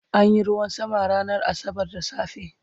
an Yi ruwan sama ranar asabar da safe